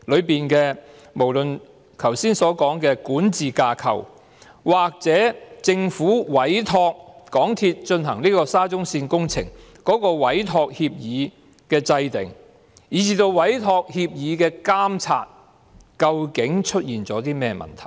無論是剛才說的管治架構，或政府在委託港鐵公司進行沙中線工程的委託協議的制訂過程當中，以至對委託協議的監察，究竟是出現了甚麼問題？